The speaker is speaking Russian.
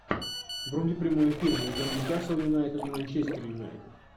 вруби прямой эфир между ньюкасл юнайтед и манчестер юнайтед